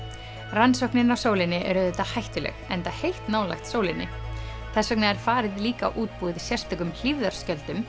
rannsóknin á sólinni er auðvitað hættuleg enda heitt nálægt sólinni þess vegna er farið líka útbúið sérstökum